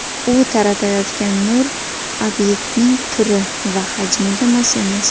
U taratayotgan nur obyektning turi va hajmiga mos emas.